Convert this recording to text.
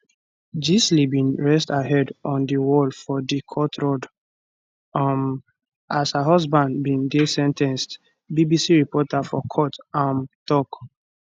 gisele bin rest her head on di wall for di court rod um as her exhusband bin dey sen ten ced bbc reporter for court um tok